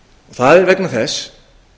það er vegna þess